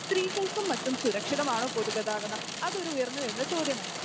സ്ത്രീകൾക്കും മറ്റും സുരക്ഷിതമാണോ പൊതുഗതാഗതം? അതൊരു ഉയർന്നുവരുന്ന ചോദ്യമാണ്.